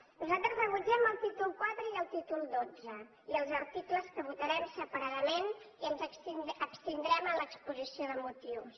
nosaltres rebutgem el títol iv i el títol xii i els articles que votarem separadament i ens abstindrem en l’exposició de motius